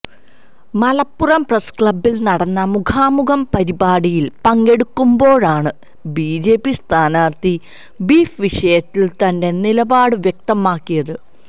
മലപ്പുറം പ്രസ്ക്ലബ്ബിൽ നടന്ന മുഖാമുഖം പരിപാടിയിൽ പങ്കെടുക്കുമ്പോഴാണ് ബിജെപി സ്ഥാനാർത്ഥി ബീഫ് വിഷയത്തിൽ തന്റെ നിലപാട് വ്യക്തമാക്കിയത്